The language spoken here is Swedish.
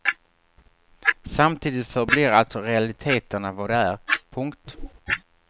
Samtidigt förblir alltså realiteterna vad de är. punkt